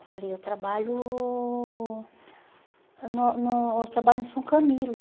Eu falei, eu trabalho no no eu trabalho no São Camilo.